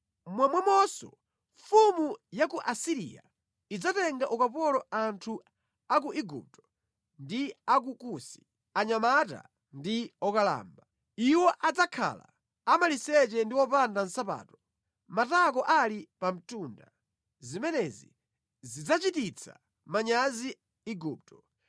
momwemonso mfumu ya ku Asiriya idzatenga ukapolo anthu a ku Igupto ndi a ku Kusi, anyamata ndi okalamba. Iwo adzakhala amaliseche ndi opanda nsapato, matako ali pa mtunda. Zimenezi zidzachititsa manyazi Igupto.